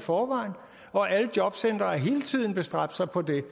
forvejen og alle jobcentre har hele tiden bestræbt sig på det